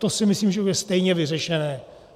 To si myslím, že bude stejně vyřešené.